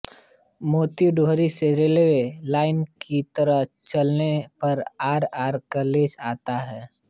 मोती डुंगरी से railway line की तरफ चलने पर आर आर कॉलेज आता है